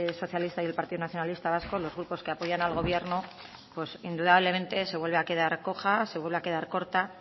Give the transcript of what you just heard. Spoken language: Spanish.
socialista y el partido nacionalista vasco los grupos que apoyan al gobierno pues indudablemente se vuelve a quedar coja se vuelve a quedar corta